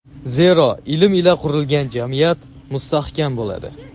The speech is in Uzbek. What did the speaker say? zero ilm ila qurilgan jamiyat mustahkam bo‘ladi.